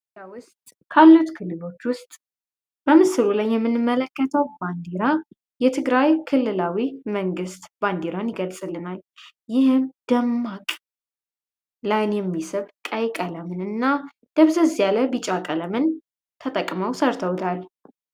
ካሉት ክልሎች ውስጥ በምስሩ ላይ የምንመለከተው ባንዲራ የትግራይ ክልላዊ መንግስት ባንዲራን ይገልጽልናል የሚሰጥ ቀይ ቀለምንና ቢጫ ቀለምን ተጠቅመው ሰርተውታል